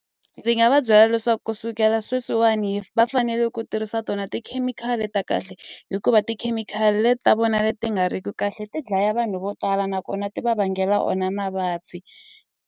Ndzi nga va byela leswaku ku sukela sweswiwani va fanele ku tirhisa tona tikhemikhali ta kahle hikuva tikhemikhali leti ta vona leti nga ri ku kahle ti dlaya vanhu vo tala nakona ti va vangela o na mavabyi.